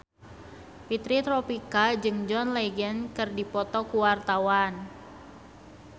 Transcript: Fitri Tropika jeung John Legend keur dipoto ku wartawan